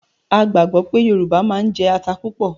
A gbàgbọ́ pé Yorùbá máa ń jẹ ata púpọ̀